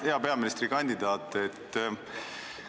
Hea peaministrikandidaat!